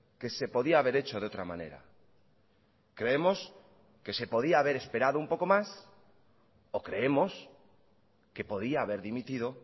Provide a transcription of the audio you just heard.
que se podía haber hecho de otra manera creemos que se podía haber esperado un poco más o creemos que podía haber dimitido